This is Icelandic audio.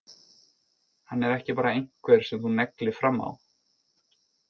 Hann er ekki bara einhver sem þú neglir fram á.